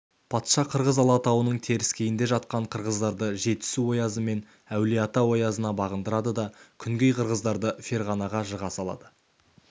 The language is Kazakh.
патша қырғыз алатауының теріскейінде жатқан қырғыздарды жетісу оязы мен әулиеата оязына бағындырады да күнгей қырғыздарды ферғанаға жыға салады